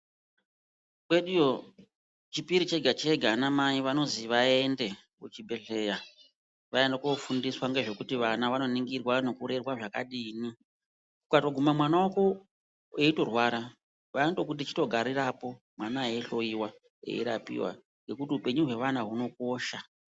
Kweduyo chipiri chega chega anamai vanoziya vaende kuchibhedhlera vaende kofundiswa ngezvekuti vana vanoningirwa nekurerwa zvakadini ukatoguma mwana wako eitorwara vanotokuti chitogarirapo mwana eihloiwa, eirapiwa nekuti upenyu hweana hunokosha.